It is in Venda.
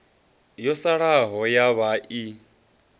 yo salaho ya vhaa i